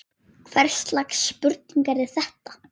Hvers lags spurning er þetta?